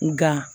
Nga